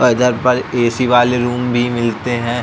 और इधर पर ए सी वाले रूम भी मिलते हैं।